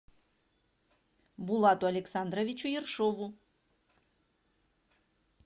булату александровичу ершову